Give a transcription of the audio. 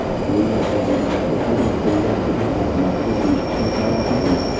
Buryatiyadagi maktabga uyushtirilgan hujum oqibatida besh kishi jarohat oldi.